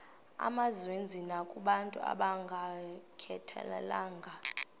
mazenziwe nakobantu abangayikhathalelanga